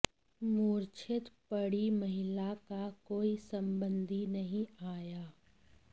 मूर्छित पड़ी महिला का कोई संबंधी नहीं आया